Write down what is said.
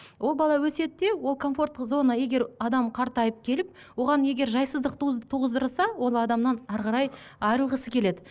ол бала өседі де ол комфорттық зона егер адам қартайып келіп оған егер жайсыздық туғыздырса ол адамнан әрі қарай айрылғысы келеді